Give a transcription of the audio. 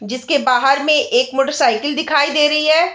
जिसके बाहर में एक मोटर साइकिल दिखाई दे रही है।